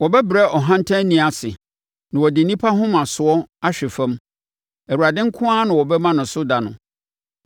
Wɔbɛbrɛ ɔhantanni ase, na wɔde nnipa ahomasoɔ ahwe fam; Awurade nko ara na wɔbɛma no so da no.